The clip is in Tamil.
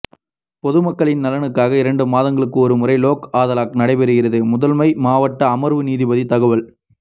பொதுமக்களின் நலனுக்காக இரண்டு மாதங்களுக்கு ஒருமுறை லோக் அதாலத் நடைபெறுகிறது முதன்மை மாவட்ட அமர்வு நீதிபதி தகவல்